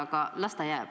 Aga las ta olla.